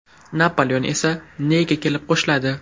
Napoleon esa Neyga kelib qo‘shiladi.